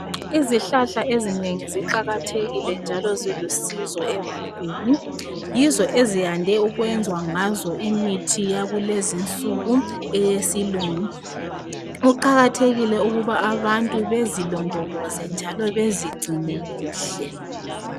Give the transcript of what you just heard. Izihlahla ezinengi ziqakathekile njalo zilusizo ebantwini. Yizo eziyande ukwenza ngazo imithi yakulezi insuku eyesilungu. Kuqakathekile ukuba abantu bezilondoloze njalo bezigcine kuhle.